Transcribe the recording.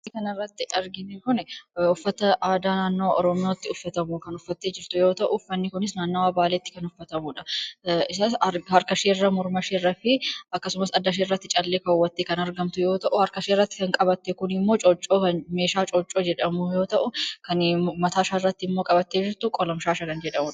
Suura kanarratti arginu kunii, uffata aadaa naannoo oromootti kan uffatamu uffattee jirti yoo ta'u, uffanni kunis naannawwaa baaleetti kan uffatamudha. Isas harkaasheerra, mormasheerratti akkasumas addaasheerratti callee kaawwaattee kan argamtu yoo ta'u, harkasheerratti kan qabatte kun immoo meeshaa cooccoo jedhamu yoo ta'u, kan mataasarratti qabatte jirtu immoo qolobshaasha kan jedhamudha.